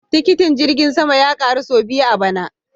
Tikitin jirgin sama ya karu sau biyu a bana